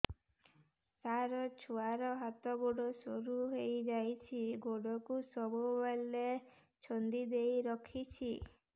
ସାର ଛୁଆର ହାତ ଗୋଡ ସରୁ ହେଇ ଯାଉଛି ଗୋଡ କୁ ସବୁବେଳେ ଛନ୍ଦିଦେଇ ରଖୁଛି